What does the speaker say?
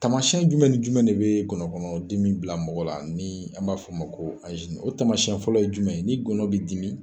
Tamasiyɛn jumɛn jumɛn de bɛ ngɔnɔnkɔnɔ dimi bila mɔgɔ la ni an b'a f'o ma ko o tamasiyɛn fɔlɔ ye jumɛn ye ni ngɔnɔn bɛ dimi.